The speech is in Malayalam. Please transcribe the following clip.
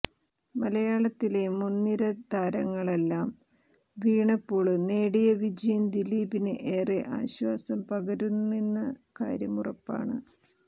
മലയാളത്തിലെ മുന്നിര താരങ്ങളെല്ലാം വീണപ്പോള് നേടിയ വിജയം ദിലീപിന് ഏറെ ആശ്വാസം പകരുമെന്ന കാര്യമുറപ്പാണ്